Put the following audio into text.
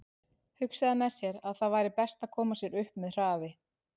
Hugsaði með sér að það væri best að koma sér upp með hraði.